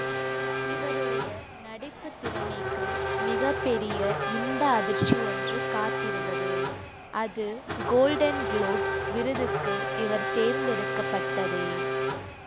இவருடைய நடிப்பு திறமைக்கு மிக பெரிய இன்ப அதிர்ச்சி ஒன்று காத்திருந்தது அது கோல்டன் குளோப் விருதுக்கு இவர் தேர்ந்தெடுக்கப்பட்டதே